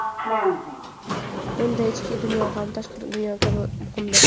Bunda ichki dunyo ham tashqi dunyo kabi muhimdir.